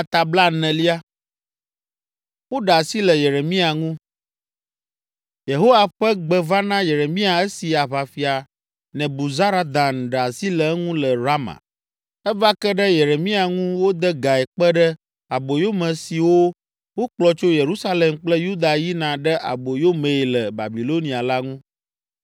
Yehowa ƒe gbe va na Yeremia esi aʋafia Nebuzaradan ɖe asi le eŋu le Rama. Eva ke ɖe Yeremia ŋu wode gae kpe ɖe aboyome siwo wokplɔ tso Yerusalem kple Yuda yina ɖe aboyo mee le Babilonia la ŋu.